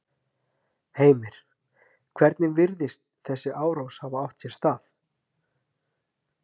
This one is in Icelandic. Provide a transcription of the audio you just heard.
Heimir: Hvernig virðist þessi árás hafa átt sér stað?